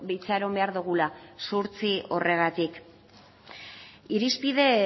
itxaron behar dugula zuhurtzia horregatik irizpide